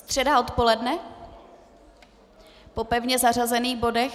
Středa odpoledne po pevně zařazených bodech?